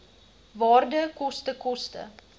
waarde koste koste